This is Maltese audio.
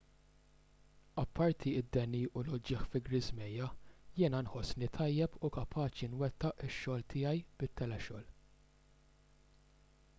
apparti d-deni u l-uġigħ fi ġriżmejja jiena nħossni tajjeb u kapaċi nwettaq ix-xogħol tiegħi bit-telexogħol